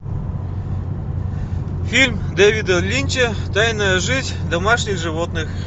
фильм дэвида линча тайная жизнь домашних животных